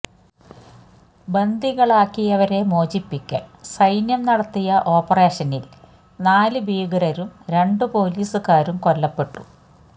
ബന്ദികളാക്കിയവരെ മോചിപ്പിക്കാന് സൈന്യം നടത്തിയ ഓപ്പറേഷനില് നാലു ഭീകരരും രണ്ട് പൊലീസുകാരും കൊല്ലപ്പെട്ടു